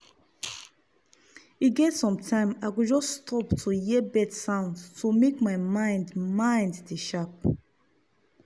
e get sometime i go just stop to hear bird sound to make my mind mind dey sharp.